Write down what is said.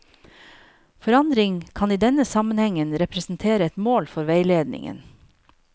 Forandring kan i denne sammenhengen representere et mål for veiledningen.